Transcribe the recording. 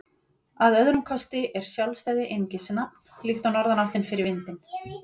Að öðrum kosti er sjálfstæði einungis nafn, líkt og norðanáttin fyrir vindinn.